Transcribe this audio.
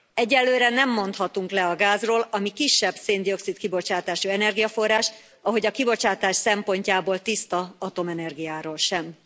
Egyelőre nem mondhatunk le a gázról, ami kisebb szén dioxid kibocsátású energiaforrás, ahogy a kibocsátás szempontjából tiszta atomenergiáról sem.